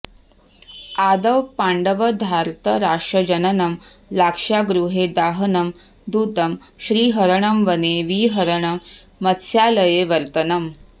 आदौ पाण्डवधार्तराष्ट्रजननं लाक्षागृहे दाहनं द्यूतं श्रीहरणं वने विहरणं मत्स्यालये वर्तनम्